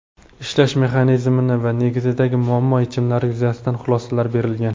ishlash mexanizmi va negizidagi muammo-yechimlari yuzasidan xulosalar berilgan.